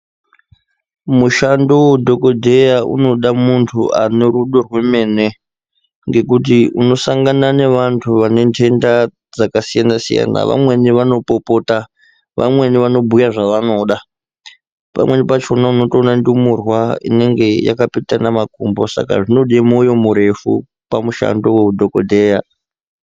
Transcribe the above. Mushando vedhogodheya unoda muntu anorudo rwemene. Ngekuti unosangana nevantu vanentenda dzakasiyana-siyana, vamweni vanopopota vamweni vanobhuya zvavanoda. Pamweni pachona unotoona ndumurwa inenge yakapetana makumbo saka zvinode moyo murefu pamushando veudhogodheya.